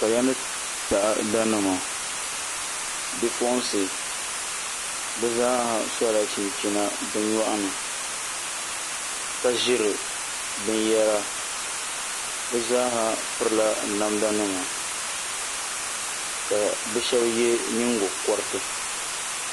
Kaya ni taada nima bipuɣunsi bi zaaha sola chinchina bi nyoɣani ka ʒiri binyɛra bi zaaha pirila namda nima ka bi shab yɛ nyingokoriti